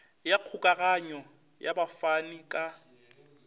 ya kgokaganyo ya bafani ka